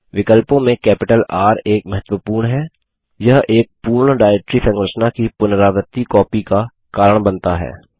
विकल्पों में capital R एक महत्वपूर्ण हैयह एक पूर्ण डाइरेक्टरी संरचना की पुनरावर्ती कॉपी का कारण बनता है